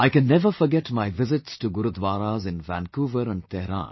I can never forget my visits to Gurudwaras in Vancouver and Tehran